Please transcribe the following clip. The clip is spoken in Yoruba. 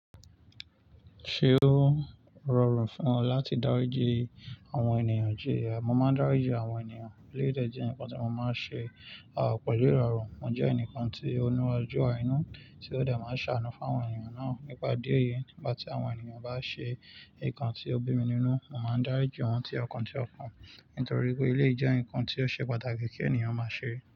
Ṣé ó rọrùn fún ọ láti dáríji àwọn ènìyàn? Jìya, mo máa ń dáríji àwọn ènìyàn. Eléyìí ìdè jẹ́ ǹkan tí mo máa ń ṣe, pẹ̀lú ìrọ̀rùn. Mo jẹ́ ẹnìkan tí o ní ojú àánú, tí ó dẹ̀ máa ń ṣàánú fún àwọn ènìyàn náà. Nípa ìdí èyí, nígbà tí àwọn ènìyàn bá ṣe nǹkan tí ó bí mi nínú, mo máa ń dáríji wọ́n tí ọ̀kan tí ọ̀kan. Nítorí pé eléyìí jẹ́ ǹkan tí ó ṣe pàtàkì kí ènìyàn máa ṣe.